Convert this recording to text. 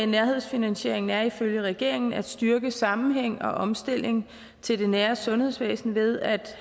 nærhedsfinansieringen er ifølge regeringen at styrke sammenhæng og omstilling til det nære sundhedsvæsen ved at